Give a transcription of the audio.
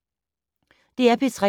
DR P3